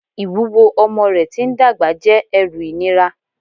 Ìwúwo ọmọ rẹ̀ tí ń dàgbà jẹ́ ẹrù ìnira